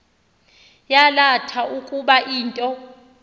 yalatha ukuba into